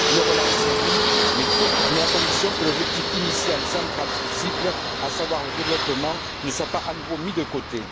Le relancer, oui, mais à condition que l'objectif initial et central de ce cycle, à savoir le développement, ne soit pas à nouveau mis de côté.